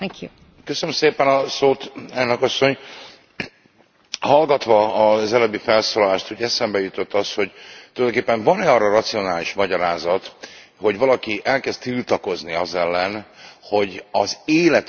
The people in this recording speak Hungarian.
Hallgatva az előbbi felszólalást, eszembe jutott az, hogy tulajdonképpen van e arra racionális magyarázat, hogy valaki elkezd tiltakozni az ellen, hogy az életünket érintő ügyeket a piac részévé tegyük.